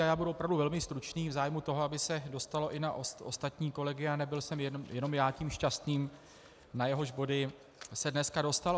A já budu opravdu velmi stručný v zájmu toho, aby se dostalo i na ostatní kolegy a nebyl jsem jenom já tím šťastným, na jehož body se dneska dostalo.